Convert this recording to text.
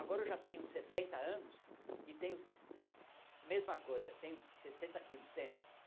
Agora eu já tenho setenta anos e tenho a mesma coisa, tenho sessenta quilos sempre.